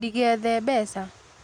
Ndĩgethe mbeca